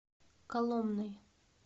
коломной